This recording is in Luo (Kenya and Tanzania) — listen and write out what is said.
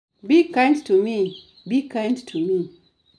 Be kind to me, Be kind to me